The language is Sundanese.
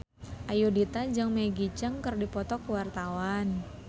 Ayudhita jeung Maggie Cheung keur dipoto ku wartawan